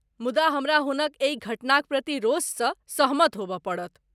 मुदा हमरा हुनक एहि घटनाक प्रति रोषसँ सहमत होबय पड़त।